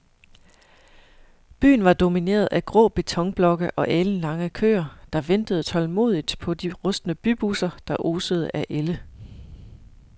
Byen var domineret af grå betonblokke og alenlange køer, der ventede tålmodigt på de rustne bybusser, der osede af ælde.